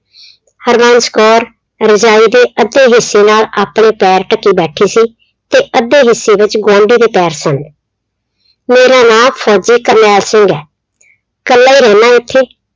ਹਰਬੰਸ ਕੌਰ ਰਜਾਈ ਦੇ ਅੱਧੇ ਹਿੱਸੇ ਨਾਲ ਆਪਣੇ ਪੈਰ ਢੱਕੀ ਬੈਠੀ ਸੀ ਤੇ ਅੱਧੇ ਹਿੱਸੇ ਵਿੱਚ ਗੁਆਂਢੀ ਦੇ ਪੈਰ ਸਨ। ਮੇਰਾ ਨਾਂ ਫ਼ੌਜੀ ਕਰਨੈਲ ਸਿੰਘ ਆ, ਕੱਲਾ ਈ ਰਹਿਨਾ ਇੱਥੇ,